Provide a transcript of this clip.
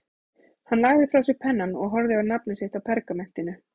Hann lagði frá sér pennann og horfði á nafnið sitt á pergamentinu.